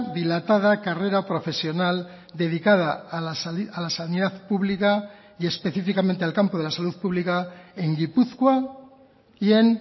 dilatada carrera profesional dedicada a la sanidad pública y específicamente al campo de la salud pública en gipuzkoa y en